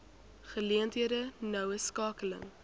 geleenthede noue skakeling